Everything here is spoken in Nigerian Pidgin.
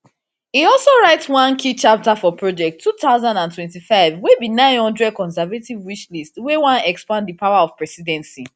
e also write one write one key chapter for project two thousand and twenty-five we be nine hundred conservative wishlist wey wan expand di power of presidency